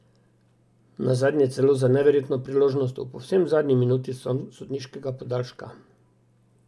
Nazadnje celo za neverjetno priložnost v povsem zadnji minuti sodniškega podaljška.